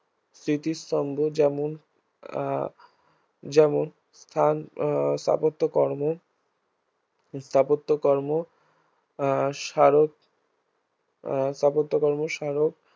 স্মৃতিস্তম্ভ যেমন আহ যেমন ফ্রান্স আহ স্থাপত্যকর্ম স্থাপত্যকর্ম আহ স্বারক আহ স্থাপত্যকর্ম স্বারক